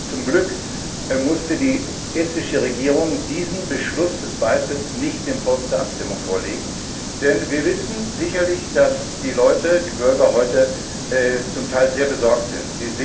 Zum Glück musste die estnische Regierung diesen Beschluss des Beitritts nicht dem Volk zur Abstimmung vorlegen, denn wir wissen sicherlich, dass die Bürger zum Teil sehr besorgt sind.